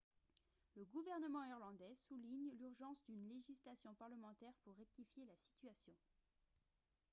le gouvernement irlandais souligne l'urgence d'une législation parlementaire pour rectifier la situation